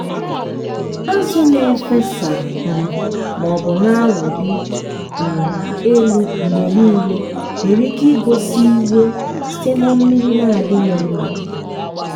azụ na-efesa um maọbụ na-awụli um elu mgbe niile nwere ike igosi iwe site na mmiri na-adịghị mma.